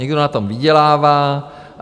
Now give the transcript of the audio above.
Někdo na tom vydělává.